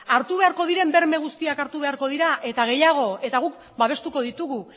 hartu beharko diren berme guztiak hartu beharko dira eta gehiago eta guk babestuko ditugu